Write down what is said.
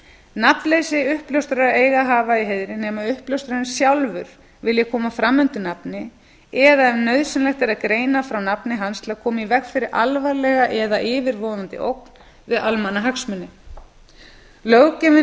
nafnleysi uppljóstrara eigi að hafa í heiðri nema uppljóstrarinn sjálfur vilji koma fram undir nafni eða ef nauðsynlegt er að greina frá nafni hans til að koma í veg fyrir alvarlega eða yfirvofandi ógn við almannahagsmuni löggjöfin eigi